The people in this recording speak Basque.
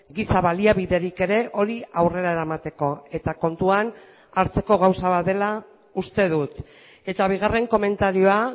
giza baliabiderik ere hori aurrera eramateko eta kontuan hartzeko gauza bat dela uste dut eta bigarren komentarioa